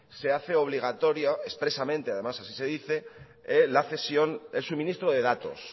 se hace obligatoria expresamente además así se dice la cesión el suministro de datos